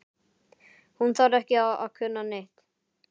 Hún þarf ekki að kunna neitt.